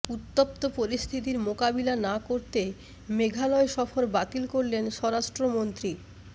উত্তপ্ত পরিস্থিতির মোকাবিলা না করতে মেঘালয় সফর বাতিল করলেন স্বরাষ্ট্রমন্ত্রী